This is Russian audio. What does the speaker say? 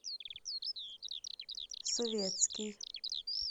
советский